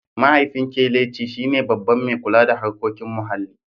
Mahaifin Kelechi shi ne Babban mai kula da harkokin muhalli.